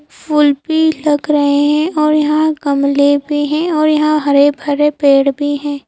फूल भी लग रहे हैं और यहां गमले भी हैं और यहां हरे भरे पेड़ भी हैं।